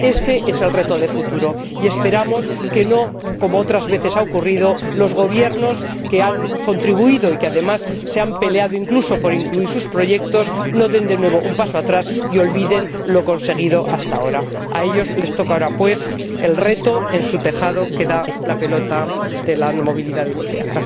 Ese es el reto de futuro, y esperamos que, al contrario de lo que otras veces ha ocurrido, los Gobiernos que han contribuido y que además se han peleado, incluso, por incluir sus proyectos, no den de nuevo un paso atrás y olviden lo conseguido hasta ahora. A ellos les toca ahora afrontar este reto, pues en su tejado está la pelota de la movilidad europea.